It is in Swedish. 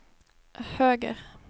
höger